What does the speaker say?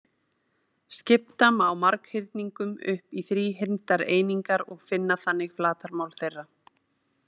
Skipta má marghyrningum upp í þríhyrndar einingar og finna þannig flatarmál þeirra.